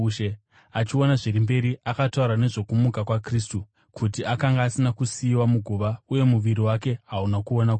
Achiona zviri mberi, akataura nezvokumuka kwaKristu, kuti akanga asina kusiyiwa muguva, uye muviri wake hauna kuona kuora.